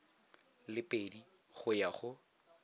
le pedi go ya go